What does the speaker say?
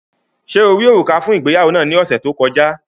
Ṣe o ri òrúkà fun ìgbéyàwó naa ni ọsẹ to kọja?